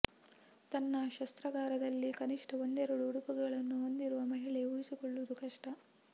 ತನ್ನ ಶಸ್ತ್ರಾಗಾರದಲ್ಲಿ ಕನಿಷ್ಟ ಒಂದೆರಡು ಉಡುಪುಗಳನ್ನು ಹೊಂದಿರದ ಮಹಿಳೆ ಊಹಿಸಿಕೊಳ್ಳುವುದು ಕಷ್ಟ